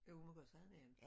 Jo du må godt sige navne